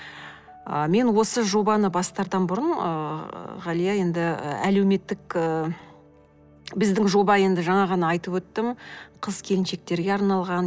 ы мен осы жобаны бастардан бұрын ыыы ғалия енді і әлеуметтік ы біздің жоба енді жаңа ғана айтып өттім қыз келіншектерге арналған